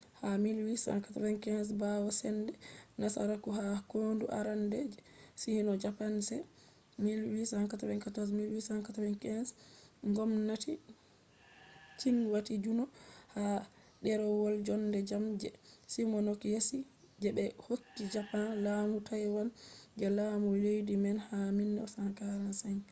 ha 1895 ɓawo sende nasaraku ha kondu arande je sino-japanese 1894-1895 ngomnati qing wati juno ha ɗerewol jonde jam je shimonoseki je be hokki japan laamu taiwan je laami leddi man ha 1945